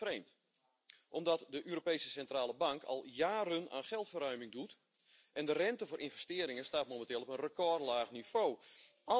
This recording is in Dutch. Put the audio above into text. Dat is vreemd omdat de Europese Centrale Bank al jaren aan geldverruiming doet en de rente voor investeringen momenteel op een recordlaag niveau staat.